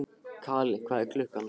Kali, hvað er klukkan?